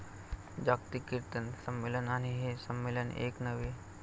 जागतिक किर्तन संमेलन आणि हे संमेलन एक नव्हे.